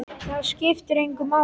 Það skiptir engu máli.